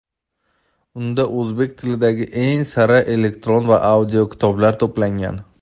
unda o‘zbek tilidagi eng sara elektron va audio kitoblar to‘plangan.